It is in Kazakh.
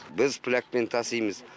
біз плякпен тасимыз